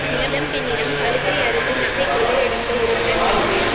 இளம் பெண்ணிடம் கழுத்தை அறுத்து நகை கொள்ளையடித்த உறவினர் கைது